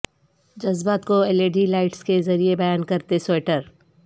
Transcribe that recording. جذبات کو L E D lights کے ذریعے بیان کرتے سوئیٹر